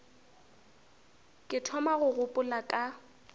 ke thoma go gopola ka